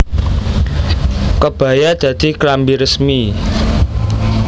Kebaya dadi klambi resmi